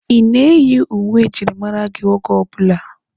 Ị na-eyi uwe njirimara oge ọbụla?